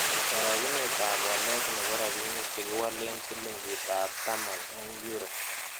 Karogunetap walet ne po rabinik chegiwolen silingitap taman eng' euro